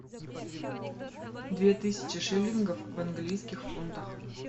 две тысячи шиллингов в английских фунтах